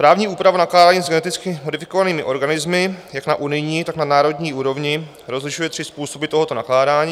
Právní úprava nakládání s geneticky modifikovanými organismy jak na unijní, tak na národní úrovni rozlišuje tři způsoby tohoto nakládání.